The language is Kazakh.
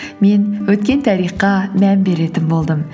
мен өткен тарихқа мән беретін болдым